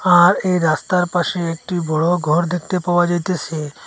আর এই রাস্তার পাশে একটি বড় ঘর দেখতে পাওয়া যাইতাসে।